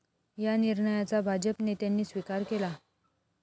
या निर्णयाचा भाजप नेत्यांनी स्विकार केला.